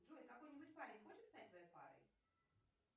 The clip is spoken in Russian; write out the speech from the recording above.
джой какой нибудь парень хочет стать твоей парой